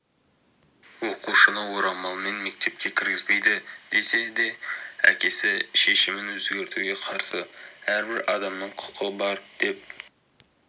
оқушыны орамалмен мектепке кіргізбейді десе де әкесі шешімін өзгертуге қарсы әрбір адамның құқы бар деп